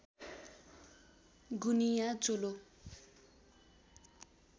गुनिया चोलो